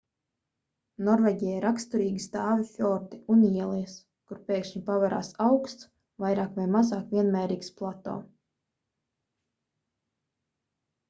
norvēģijai raksturīgi stāvi fjordi un ielejas kur pēkšņi paverās augsts vairāk vai mazāk vienmērīgs plato